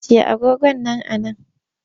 Ajiye agogon nan a nan!